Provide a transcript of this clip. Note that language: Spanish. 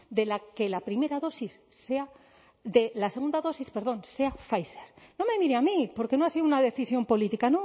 de que la segunda dosis sea pfizer no me mire a mí porque no ha sido una decisión política